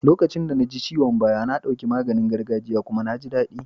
Lokacin da na ji ciwon baya, na ɗauki maganin gargajia kuma na jin daɗi.